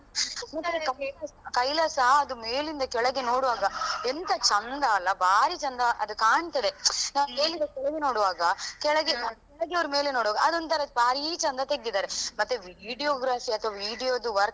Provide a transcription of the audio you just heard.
ಕೈಲಾಸ ಅದು ಮೇಲಿಂದ ಕೆಳಗೆ ನೋಡುವಾಗ ಎಂತ ಚಂದ ಅಲಾ ಭಾರಿ ಚಂದ ಅದು ಕಾಣ್ತದೆ ನಾವ್ ಮೇಲಿಂದ ಕೆಳಗೆ ನೋಡುವಾಗ ಕೆಳಗೆ, ಕೆಳಗೆಯವರು ಮೇಲೆ ನೋಡುವಾಗ ಅದೊಂದು ತರ ಭಾರಿ ಚಂದ ತೆಗ್ದಿದಾರೆ ಮತ್ತೆ video graphic ಅಥವಾ video ದು work